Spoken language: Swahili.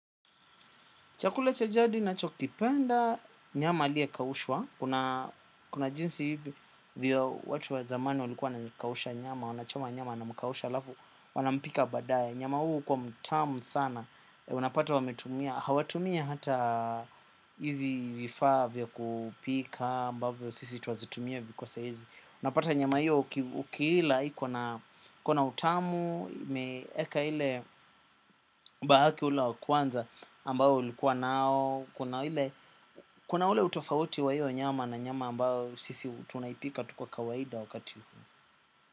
Chakula cha jadi nacho kipenda, nyama alia kawushwa. Kuna jinsi hivi, vio watu wa zamani walikuwa na kawusha nyama, wanachoma nyama na mkawusha lafu, wanampika badaye. Nyama huu ukuwa mtamu sana, unapata wametumia. Hawatumi hata hizi vifa vio kupika, ambavyo sisi tuwazitumia viko sahizi. Unapata nyama hiyo ukiila, iko na utamu, imeeka ile bahaki ule wa kwanza, ambao ilikuwa nao. Kuna ule utofauti wa hiyo nyama na nyama ambao sisi tunaipika tu kwa kawaida wakati huu.